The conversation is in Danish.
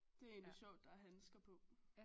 Det er egentlig sjovt der er handsker på